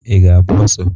I ga-agba ọsọ?